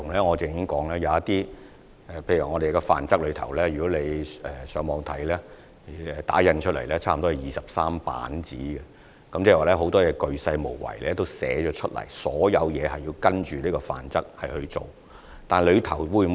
我剛才也提過，《範則》的內容從電腦打印出來差不多有23頁，很多事情均已鉅細無遺地羅列，所有事情都需要依據《範則》去做。